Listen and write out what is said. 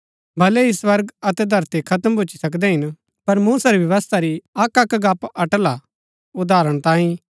भलै ही स्वर्ग अतै धरती खत्म भूच्ची सकदै हिन पर मूसा री व्यवस्था री अक्कअक्क गप्‍प अटल हा उदाहरण तांई